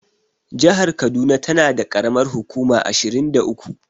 Jahar kaduna tana da ƙaramar hukuma ashirin da uku.